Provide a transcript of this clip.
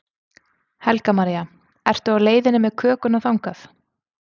Helga María: Ertu á leiðinni með kökuna þangað?